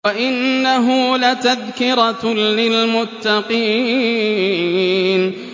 وَإِنَّهُ لَتَذْكِرَةٌ لِّلْمُتَّقِينَ